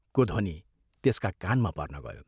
को ध्वनि त्यसका कानमा पर्न गयो।